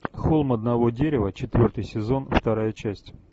холм одного дерева четвертый сезон вторая часть